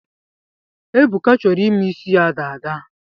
Ebuka chọrọ ime ịsị ya dada